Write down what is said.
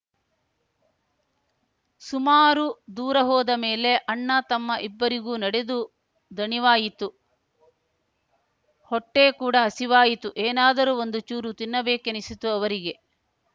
ಸುಮಾರು ದೂರ ಹೋದ ಮೇಲೆ ಅಣ್ಣತಮ್ಮ ಇಬ್ಬರಿಗೂ ನಡೆದು ದಣಿವಾಯಿತು ಹೊಟ್ಟೆಕೂಡ ಹಸಿವಾಯಿತು ಏನಾದರೂ ಒಂದು ಚೂರು ತಿನ್ನಬೇಕೇನಿಸಿತು ಅವರಿಗೆ